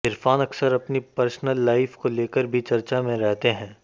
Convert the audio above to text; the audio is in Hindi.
इरफान अक्सर अपनी पर्सनल लाइफ को लेकर भी चर्चा में रहते हैं